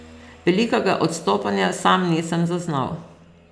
Velikega odstopanja sam nisem zaznal.